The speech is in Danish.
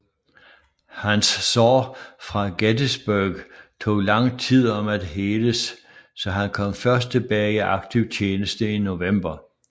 Hans sår fra Gettysburg tog lang tid om at heles så han kom først tilbage i aktiv tjeneste i november